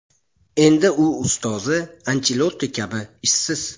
Endi u ustozi Anchelotti kabi ishsiz.